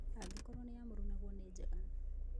Angĩkorũo nĩ ya mũrunaguo nĩ njega.